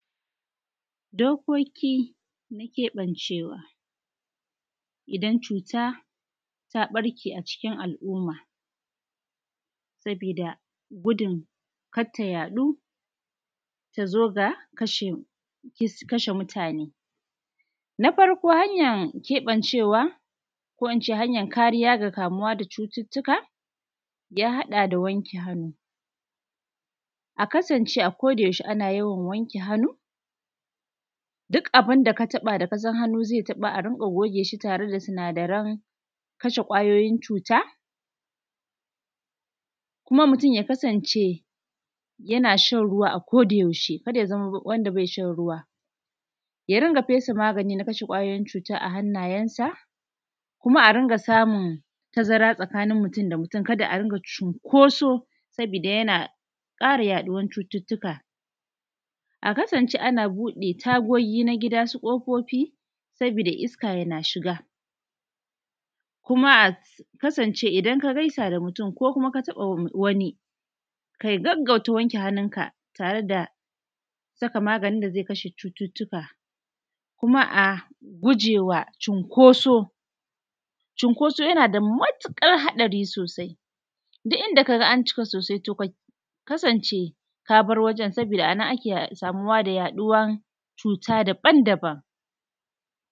Dokoki na keɓancewa, idan cuta ta ɓarke a cikin al’umma, saboda gudun kar ta yaɗuu, ta zo ga kashe mutane. Na farko, hanyar keɓancewa ko ince hanyar kariya ga kamuuwa da cututtukaa, ya haɗa da wanke hannu. A kasance a ko da yaushe ana yawan wanke hannu, duk abin da ka taɓa da ka san hannu zai taɓa a riƙa goge shi da sinadaran kashe ƙwayoyin cuta. Kuma mutum ya kasance yana shan ruwa a ko da yaushe, kar ya zama wanda bai shan ruwa. Ya rinƙa fesa magani na kashe ƙwayoyin cuta a hannayensa. Kuma a riƙa samun tazara tsakanin mutum da mutum ka da a dinga cunkoso sabooda yana ƙara yaɗuwar cututtuka. A kasance ana buɗe tagogii na gida, su ƙofofi sabooda iska yana shiga. Kuma a kasance idan ka gaisa da mutum ko kuma ka taɓa wani, ka gaggauta wanke hannunka tare da saka maganin da zai kashe cututtuka. Kuma a gujewa cunkoso, cunkoso yana da matuƙar haɗari sosai, duk inda ka ga an cika sosai to ka kasance ka bar wajen sabooda a nan ake samuwa da yaɗuwan cuuta daban-daban